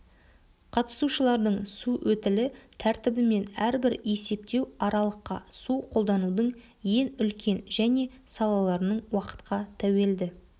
қатысушылардың су өтілі тәртібімен әрбір есептеу аралыққа су қолданудың ең үлкен және салаларының уақытқа тәуелді